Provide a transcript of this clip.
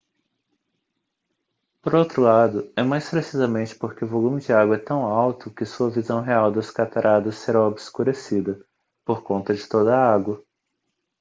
por outro lado é mais precisamente porque o volume de água é tão alto que sua visão real das cataratas será obscurecida por conta de toda a água